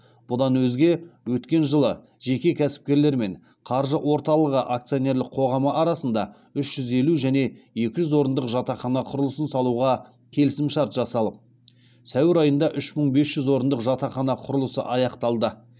бұдан өзге өткен жылы жеке кәсіпкерлер мен қаржы орталығы акционерлік қоғамы арасында үш жүз елу және екі жүз орындық жатақхана құрылысын салуға келісімшарт жасалып сәуір айында үш мың бес жүз орындық жатақхана құрылысы аяқталды